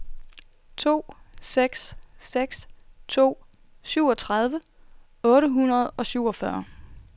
to seks seks to syvogtredive otte hundrede og syvogfyrre